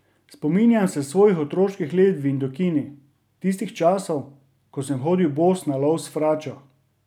Spominjam se svojih otroških let v Indokini, tistih časov, ko sem hodil bos na lov s fračo.